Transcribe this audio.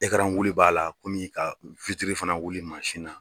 wuli b'a la kɔmi ka fana wuli mansin na.